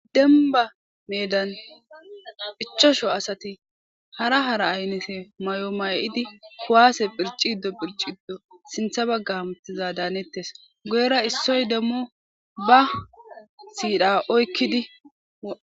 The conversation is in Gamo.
Denba meedan ichosho asati hara hara aynese may'o may'idi kowaase phirciddo phirciddo sintha bagga hamuttiza daanettes guyera issoy demmo ba siidha oykkidi.